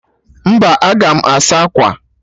Mba, aga m asa akwa